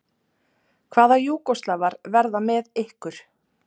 Hvaða Júgóslavar verða með ykkur?